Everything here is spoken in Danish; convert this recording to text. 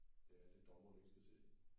Det alt det dommeren ikke skal se